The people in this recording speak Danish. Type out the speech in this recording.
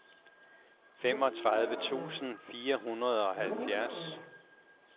femogtredive tusind fire hundrede og halvfjerds